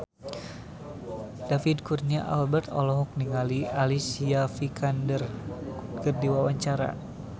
David Kurnia Albert olohok ningali Alicia Vikander keur diwawancara